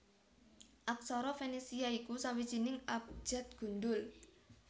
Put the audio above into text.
Aksara Fenisia iku sawijining abjad gundhul